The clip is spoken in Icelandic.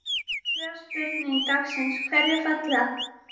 Fyrri spurning dagsins: Hverjir falla?